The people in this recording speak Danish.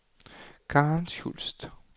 Karen Schultz